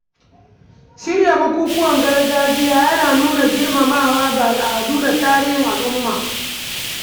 shirya bukukuwan gargajiya yana nuna girmamawa ga al’adu da tarihin al’umma.